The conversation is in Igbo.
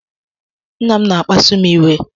Nna m na-akpasu m iwe.